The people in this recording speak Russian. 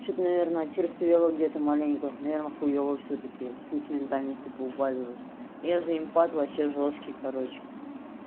что-то наверное очерствело где-то маленько наверное хуева всё-таки сентиментальности поубавилось я же импад вообще жёсткий короче